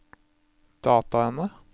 dataene